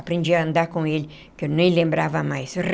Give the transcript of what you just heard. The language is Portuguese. Aprendi a andar com ele, que eu nem lembrava mais.